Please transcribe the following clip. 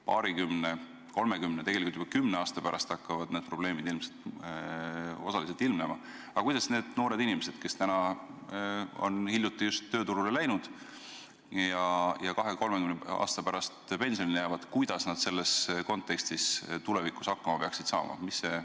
Paarikümne, kolmekümne või tegelikult juba kümne aasta pärast hakkavad need probleemid ilmselt osaliselt ilmnema, aga kuidas need noored inimesed, kes on alles hiljuti tööturule läinud ja mitme aastakümne pärast pensionile jäävad, selles kontekstis tulevikus hakkama peaksid saama?